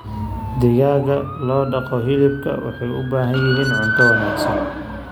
Digaagga loo dhaqo hilibka waxay u baahan yihiin cunto wanaagsan.